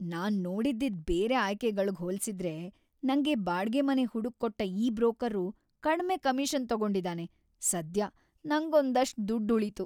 ನಾನ್ ನೋಡಿದ್ದಿದ್‌ ಬೇರೆ ಆಯ್ಕೆಗಳ್ಗ್ ಹೋಲ್ಸಿದ್ರೆ ನಂಗೆ ಬಾಡ್ಗೆ ಮನೆ ಹುಡುಕ್ಕೊಟ್ಟ ಈ ಬ್ರೋಕರ್ರು ಕಡ್ಮೆ ಕಮಿಷನ್‌ ತಗೊಂಡಿದಾನೆ, ಸದ್ಯ ನಂಗೊಂದಷ್ಟ್‌ ದುಡ್ಡ್‌ ಉಳೀತು.